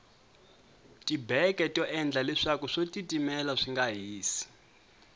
tibeke to endla leswaku swo titimela swinga hisi